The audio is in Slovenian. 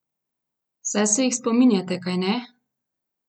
Saj se jih spominjate, kajne?